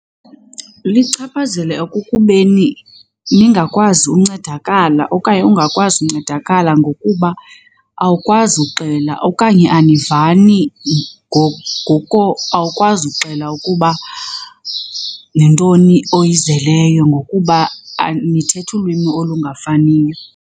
Lichaphazela ekukubeni ningakwazi uncedakala okanye ungakwazi uncedakala ngokuba awukwazi uxela okanye anivani ngoko awukwazi uxela ukuba nentoni oyizeleyo ngokuba nithetha ulwimi olungafaniyo.